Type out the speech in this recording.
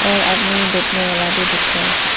और आदमी बैठने वाला भी दिख रहा है।